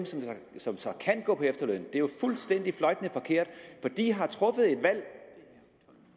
som så kan gå på efterløn er jo fuldstændig fløjtende forkert for de har truffet et valg